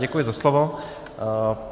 Děkuji za slovo.